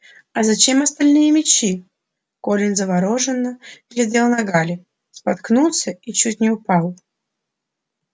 а зачем остальные мячи колин заворожённо глядел на гарри споткнулся и чуть не упал